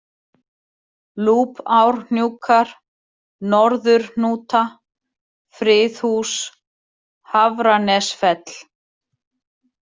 Lúpárhnjúkar, Norðurhnúta, Friðhús, Hafranesfell